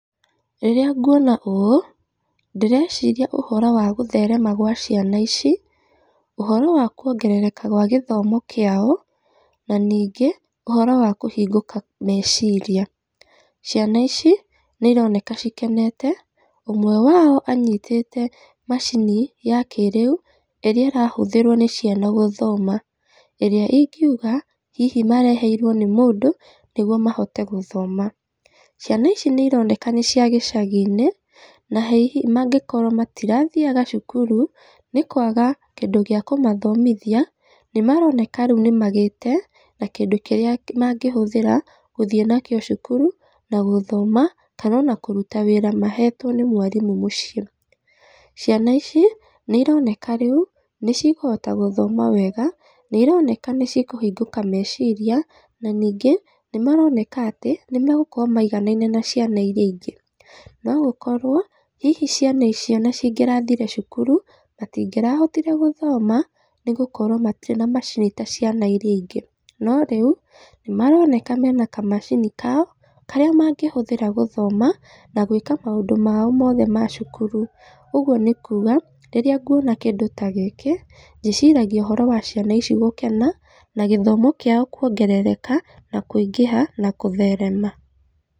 Rĩrĩa nguona ũũ, ndĩreciria ũhoro wa gũtherema gwa ciana ici, ũhoro wa kuongerereka gwa gĩthomo kĩao, na ningĩ ũhoro wa kũhingũka meciria, ciana ici nĩ ironeka cikenete, ũmwe wao anyitĩte macini ya kĩrĩu ĩrĩa ĩrahũthĩrwo nĩ ciana gũthoma, ĩrĩa ingiuga hĩhĩ mareherwo nĩ mũndũ nĩguo mahote gũthoma, ciana ici nĩ ironeka nĩ cia gĩcagi-inĩ, na hihi angĩkorwo matirathiaga cukuru, nĩ kwaga kĩndũ gĩa kũmathomithia, nĩ maroneka rĩu nĩ magĩte na kĩndũ kĩrĩa mangĩhũthĩra, gũthiĩ nakĩo cukuru na gũthoma, kana ona kũruta wĩra mahetwo nĩ mwarimũ mũciĩ, ciana ici nĩ ironeka rĩu nĩ cikũhota gũthoma wega, nĩ ironeka nĩ cikũhingũka meciria, na ningĩ nĩ maroneka atĩ nĩ megũkorwo maiganaine na ciana iria ingĩ, no gũkorwo hihi ciana ici ona cingĩrathire cukuru, matingĩrahotire gũthoma, nĩ gũkorwo matirĩ na macini taciana iria ingĩ, no rĩu nĩ maroneka mena kamacini kao, karĩa mangĩhũthĩra gũthoma, na gwĩka maũndũ mao mothe ma cukuru, ũguo nĩ kuga, rĩrĩa nguona kĩndũ ta gĩkĩ, ndĩciragia ũhoro wa ciana ici gũkena, na gĩthomo kĩo kuongereka, na kũingĩha, na gũtherema.